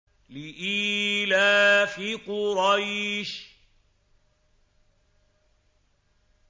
لِإِيلَافِ قُرَيْشٍ